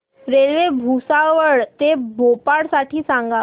railway Bhusawal ते भोपाळ साठी सांगा